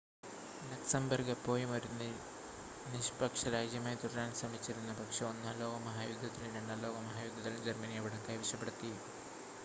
Luxembourg എപ്പോഴും ഒരു നിഷ്‌പക്ഷ രാജ്യമായി തുടരാൻ ശ്രമിച്ചിരുന്നു പക്ഷേ ഒന്നാം ലോക മഹായുദ്ധത്തിലും രണ്ടാം ലോക മഹായുദ്ധത്തിലും ജർമ്മനി അവിടം കൈവശപ്പെടുത്തി